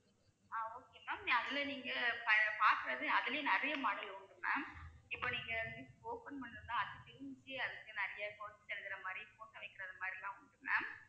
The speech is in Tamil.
ஆஹ் okay ma'am அதுல நீங்க ப~ பாக்குறது அதுலயும் நிறைய model உண்டு ma'am இப்ப நீங்க gift open பண்ணணும்னா அது இருக்கு நிறைய quotes எழுதுற மாதிரி photo வைக்கிறது மாதிரி எல்லாம் உண்டு ma'am